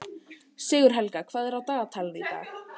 Sigurhelga, hvað er á dagatalinu í dag?